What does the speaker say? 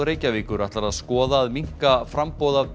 Reykjavíkur ætlar að skoða að minnka framboð af